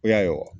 O y'a ye wa